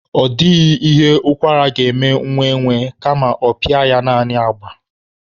Ọ dịghị ihe ụkwara ga-eme nwa enwe, kama ọ pịa ya naanị agba.